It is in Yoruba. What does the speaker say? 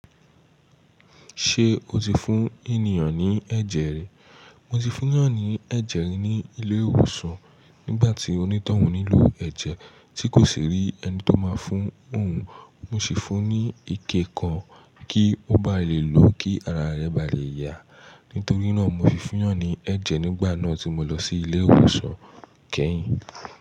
Ṣé o ti fún ènìyàn ní ẹ̀jẹ̀ rí? Mo ti fún ènìyàn ní ẹ̀jẹ̀ rí ní ilé ìwòsàn nígbà tí onítọ̀hún nílò ẹ̀jẹ̀ tí kò sì rí ẹni tó máa fún òun. Mo sì fún un ní ike kan kí ó bá lè lò ó kí ara rẹ̀ bá lè yà. Nítorí náà mo ti fún ènìyàn ní ẹ̀jẹ̀ nígbà náà tí mo lọ sí ilé ìwòsàn kẹ́yìn.